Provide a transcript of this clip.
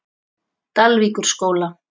Dalvíkurskóla